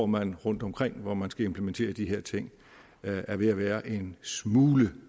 man rundtomkring hvor man skal implementere de her ting er ved at være en smule